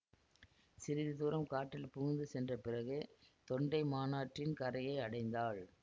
சிறிது தூரம் காட்டில் புகுந்து சென்ற பிறகு தொண்டைமானாற்றின் கரையை அடைந்தாள்